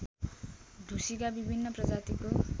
ढुसीका विभिन्न प्रजातिको